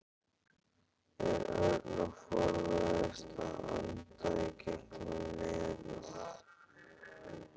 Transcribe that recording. Örn og forðaðist að anda í gegnum nefið.